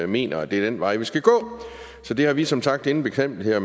mener at det er den vej vi skal gå så det har vi som sagt ingen betænkeligheder